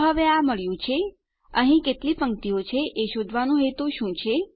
તો હવે આપણને આ મળ્યું છે અહીં કેટલી પંક્તિઓ છે એ શોધવાનો હેતુ શું છે